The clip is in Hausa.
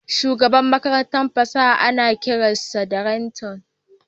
Shugaban Makarantar fasaha ana kiran sa da rakta